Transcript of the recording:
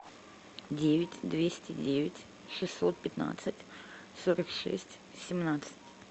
девять двести девять шестьсот пятнадцать сорок шесть семнадцать